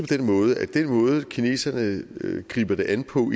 den måde at den måde kineserne griber det an på